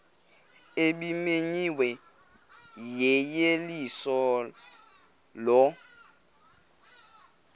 ebimenyiwe yeyeliso lo